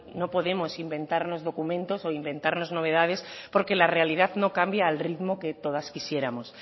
no podemos inventarnos documentos o inventarnos novedades porque la realidad no cambia al ritmo que todas quisiéramos